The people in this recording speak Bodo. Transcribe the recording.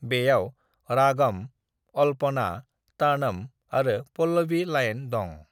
"बेयाव रागम, अलपना, तनम आरो पल्लवी लाइन दं।"